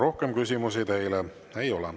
Rohkem küsimusi teile ei ole.